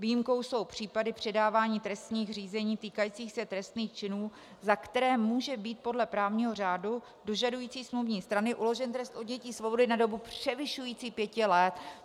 Výjimkou jsou případy předávání trestních řízení týkajících se trestných činů, za které může být podle právního řádu dožadující smluvní strany uložen trest odnětí svobody na dobu převyšující pěti let.